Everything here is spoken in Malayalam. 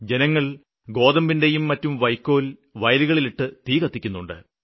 ജനങ്ങള് ഗോതമ്പിന്റേയും മറ്റും വയ്ക്കോല് വയലുകളില് ഇട്ട് തീ കത്തിക്കുന്നുണ്ട്